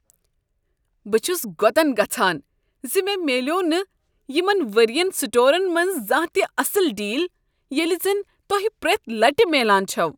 بہٕ چھس گۄتن گژھان ز مےٚ میلیوٚو نہٕ یمن ؤرۍ ین سٹورن منز زانہہ تہ اصل ڈیل ییٚلہ زن تۄہہ پرٛیتھ لٹہ میلان چھو۔